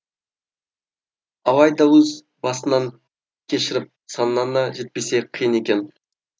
алайдаөз басыңнан кешіріп санаңа жетпесе қиын екен